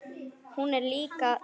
Hún er líka kát.